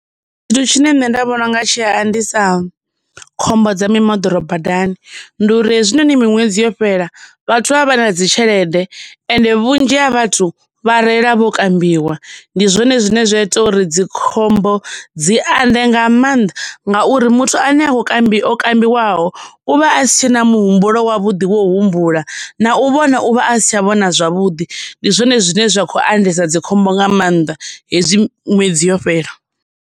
Thu tshine nṋe ndi vhona unga tshi a andisa, khombo dza mimoḓoro badani, ndi uri hezwinoni miṅwedzi yo fhela, vhathu vha vha vha na dzi tshelede, ende vhunzhi ha vhathu vha reila vho kambiwa. Ndi zwone zwine zwa ita uri dzikhombo dzi ande nga maanḓa, ngauri muthu ane ha ngo kambi o kambiwaho, uvha asi tshena muhumbulo wavhuḓi wa u humbula, na u vhona u vha a sa tsha vhona zwavhuḓi. Ndi zwone zwine zwa khou andesa dzikhombo nga maanḓa hezwi ṅwedzi yo fhela.